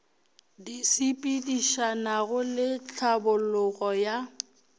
di sepedišanago le tlhabologo ya